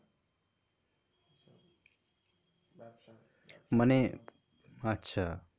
মানে? আচ্ছা,